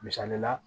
Misali la